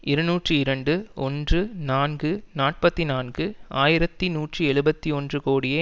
இருநூற்றி இரண்டு ஒன்று நான்கு நாற்பத்தி நான்கு ஆயிரத்தி நூற்றி எழுபத்து ஒன்று கோடியே